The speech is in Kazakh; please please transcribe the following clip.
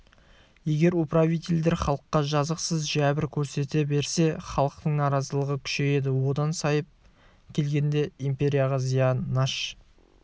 егер управительдер халыққа жазықсыз жәбір көрсете берсе халықтың наразылығы күшейеді одан сайып келгенде империяға зиян шаш